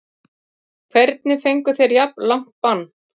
Hvernig fengu þeir jafn langt bann?